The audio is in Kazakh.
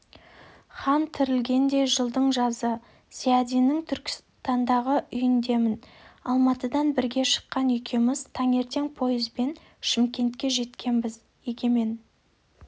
хан тірілгендей жылдың жазы зиядиннің түркістандағы үйіндемін алматыдан бірге шыққан екеуміз таңертең пойызбен шымкентке жеткенбіз егемен